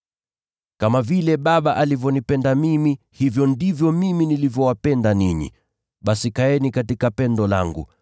“Kama vile Baba alivyonipenda mimi, hivyo ndivyo mimi nilivyowapenda ninyi. Basi kaeni katika pendo langu.